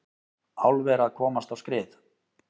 Álver að komast á skrið